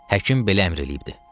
Həkim belə əmr eləyibdi.